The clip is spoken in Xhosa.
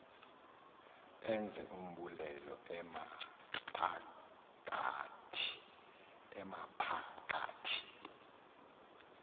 enze umbulelo amaphakathi